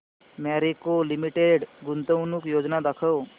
Marico limited गुंतवणूक योजना दाखव